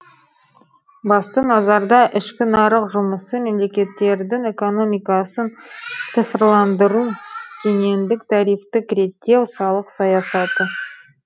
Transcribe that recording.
басты назарда ішкі нарық жұмысы мемлекеттердің экономикасын цифрландыру кедендік тарифтік реттеу салық саясаты